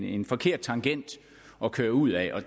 en forkert tangent at køre ud ad